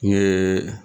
N ye